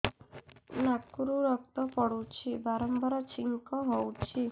ନାକରୁ ରକ୍ତ ପଡୁଛି ବାରମ୍ବାର ଛିଙ୍କ ହଉଚି